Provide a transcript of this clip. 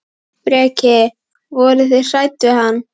Breki: Voruð þið hrædd við hann?